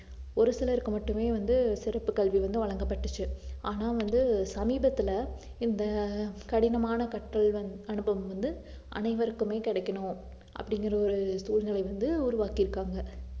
ஒரு சிலருக்கு மட்டுமே வந்து சிறப்பு கல்வி வந்து வழங்கப்பட்டுச்சு ஆனா வந்து சமீபத்துல இந்த ஆஹ் கடினமான கற்றல் வந் ~ அனுபவம் வந்து அனைவருக்குமே கிடைக்கணும் அப்படிங்கற ஒரு சூழ்நிலை வந்து உருவாக்கிருக்காங்க